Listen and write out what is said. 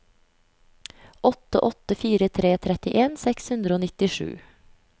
åtte åtte fire tre trettien seks hundre og nittisju